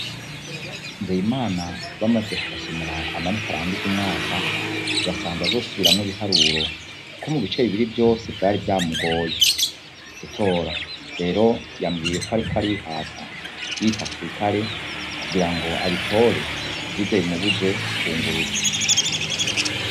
Nzeyimana bamaze kumusomera amanota arangiza umwaka yasanze azosubiramwo ibiharuro, kuko mu bice bibiri vyose vyari vyamugoye gutora. Rero yambwiye ko ariko arihata yita ku rutare kugira ngo abitore ntibize bimubuze kwunguruzwa.